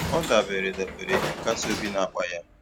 O debere debere ihe nkasi obi n'akpa ya